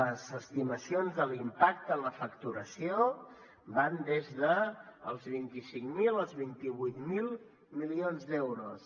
les estimacions de l’impacte en la facturació van des dels vint cinc mil als vint vuit mil milions d’euros